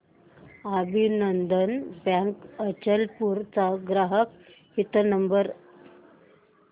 अभिनंदन बँक अचलपूर चा ग्राहक हित नंबर